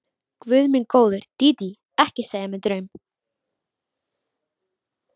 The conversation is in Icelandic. Guð minn góður, Dídí, ekki segja mér draum.